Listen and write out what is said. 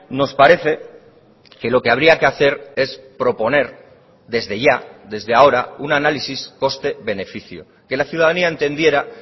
nos parece que lo que habría que hacer es proponer desde ya desde ahora un análisis coste beneficio que la ciudadanía entendiera